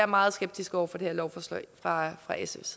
meget skeptiske over for det her lovforslag fra fra sfs